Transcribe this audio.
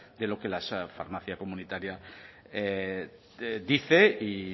de lo que la farmacia comunitaria dice y